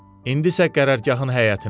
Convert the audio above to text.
İndi isə qərargahın həyətinə.